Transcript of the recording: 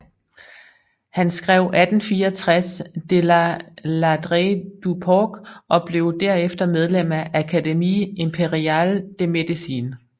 Han skrev 1864 De la ladrerie du porc og blev derefter medlem af Académie impériale de médecine